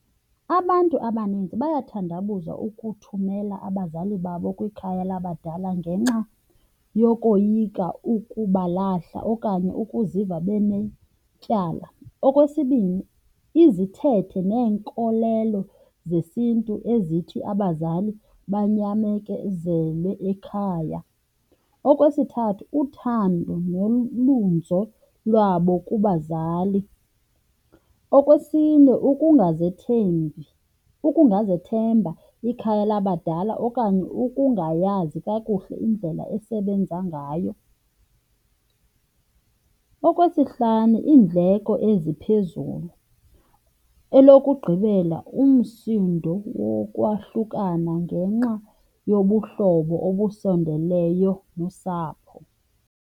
Abantu abaninzi bayathandabuza ukuthumela abazali babo kwikhaya labadala ngenxa yokoyika ukubalahla okanye ukuziva benetyala. Okwesibini, izithethe neenkolelo zesiNtu ezithi abazali banyamezele ekhaya. Okwesithathu, uthando nolunzo lwabo kubazali. Okwesine, ukungazethembi, ukungazethemba ikhaya labadala okanye ukungayazi kakuhle indlela esebenza ngayo. Okwesihlanu, iindleko eziphezulu. Elokugqibela, umsindo wokwahlukana ngenxa yobuhlobo obusondeleyo nosapho.